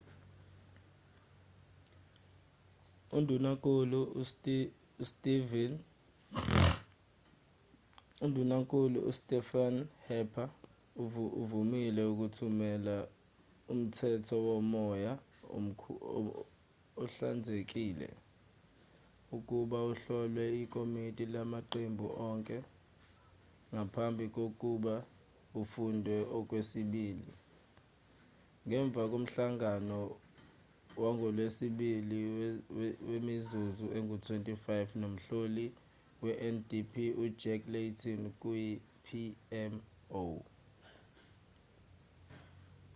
undunankulu ustephen harper uvumile ukuthumela umthetho womoya ohlanzekile' ukuba uhlolwe ikomiti lamaqembu onke ngaphambi kokuba ufundwe okwesibili ngemva komhlangano wangolwesibili wemizuzu engu-25 nomhloli wendp ujack layton kuyi-pmo